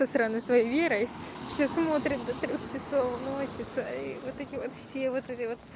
страны своей верой все смотрит часов ночи вот эти вот все вот это